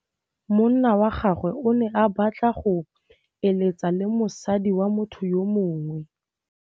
Monna wa gagwe o ne a batla go êlêtsa le mosadi wa motho yo mongwe.